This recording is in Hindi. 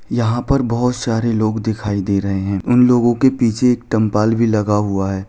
यहाँ पर बहुत सारे लोग दिखाई दे रहे है उन लोगो के पीछे एक टेम्पल भी लगा हुआ हैं।